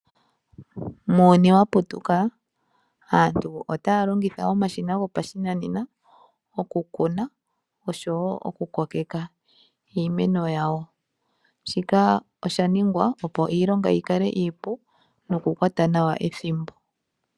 Muuyuni wa putuka aantu otaya longitha omashina gopashinanena okukuna oshowo okukokeka iimeno yawo. Shika osha ningwa opo iilonga yi kale iipu nokukwata nawa ethimbo.